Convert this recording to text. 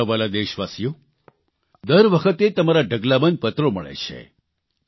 મારા વ્હાલા દેશવાસીઓ દર વખતે તમારા ઢગલાબંધ પત્રો મળે છે